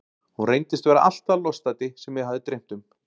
Hún reyndist vera allt það lostæti sem mig hafði dreymt um.